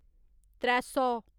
त्रै सौ